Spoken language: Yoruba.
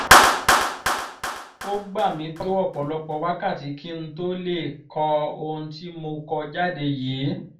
ó gbà mí tó ọ̀pọ̀lọpọ̀ wákàtí kí n tóó lè kọ ohun tí mo kọ jáde yìí